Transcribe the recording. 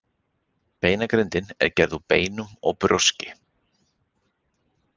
Beinagrindin er gerð úr beinum og brjóski.